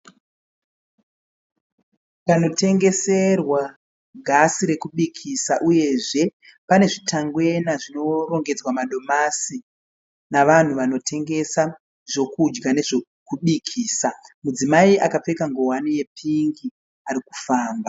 Panotengeserwa gasi rekukubikisa uyezve pane zvitangwena zvinorogedzwa madomasi navanhu vanotengesa zvokudya nezvokubikisa. Mudzimai akapfeka nguwani yepingi arikufamba.